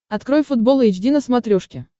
открой футбол эйч ди на смотрешке